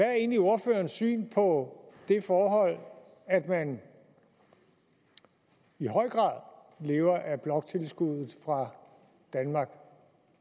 er egentlig ordførerens syn på det forhold at man i høj grad lever af bloktilskuddet fra danmark